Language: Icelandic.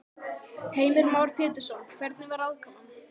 Heimir Már Pétursson: Hvernig var aðkoman?